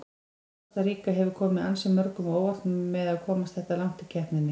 Kosta Ríka hefur komið ansi mörgum á óvart með að komast þetta langt í keppninni.